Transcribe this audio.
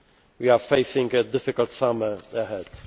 we are facing a difficult summer ahead.